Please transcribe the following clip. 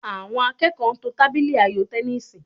Àwọn akẹ́kọ̀ọ́ ń to tábìlì ayò tẹníìsì